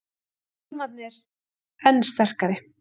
Hjálmarnir enn sterkari